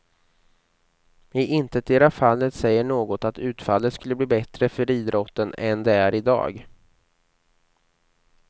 I intetdera fallet säger något att utfallet skulle bli bättre för idrotten än det är i dag.